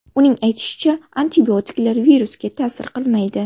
Uning aytishicha, antibiotiklar virusga ta’sir qilmaydi.